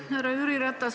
Härra Jüri Ratas!